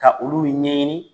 Ka olu ɲɛɲini